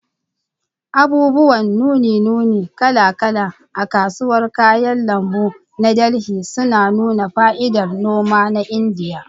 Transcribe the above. Abubuwan nune-nune kala-kala a kasuwar kayan lambu na Delhi suna nuna fa'idar noma na Indiya.